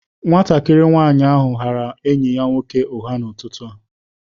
Nwatakịrị nwanyị ahụ ghaara enyi ya nwoke ụgha n'ụtụtụ a.